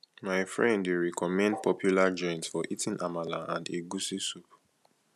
my friend dey recommend popular joint for eating amala and egusi soup